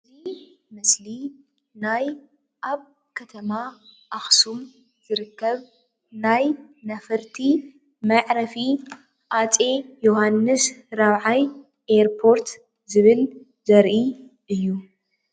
እዚ ምስሊ ናይ ኣብ ከተማ አክሱም ዝርከብ ናይ ነፈርቲ መዕረፊ ሃፀይ የውሃንስ ራብዓይ ኤርፓርት ዝብል ዘርኢ እዩ፡፡